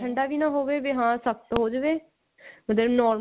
ਠੰਡਾ ਵੀ ਨਾ ਹੋਵੇ ਵੀ ਹਾਂ ਸਖਤ ਹੋ ਜਵੇ ਉਦਾਂ normal